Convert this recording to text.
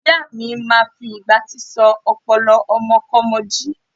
Ìyáa mi máa fi ìgbátí sọ ọpọlọ ọmọkọ́mọ jí.